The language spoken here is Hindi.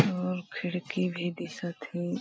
और खिड़की भी दिशा थी --